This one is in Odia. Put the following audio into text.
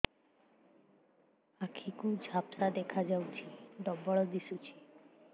ଆଖି କୁ ଝାପ୍ସା ଦେଖାଯାଉଛି ଡବଳ ଦିଶୁଚି